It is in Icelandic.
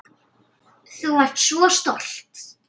Þú varst svo stolt.